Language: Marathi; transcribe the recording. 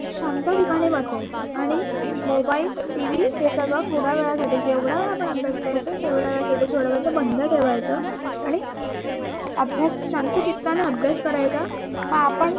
शांत ठिकाणी बसायच आणि mobiletv हे थोड्यावेळासाठी जेवढावेळ आपण अभ्यास करतोय तेवढावेळ थोडावेळ ते बंद ठेवायच आणि अभ्यास शांत चित्तानं अभ्यास करायचा हा आपण